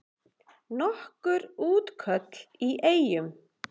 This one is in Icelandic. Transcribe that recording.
Nokkur útköll í Eyjum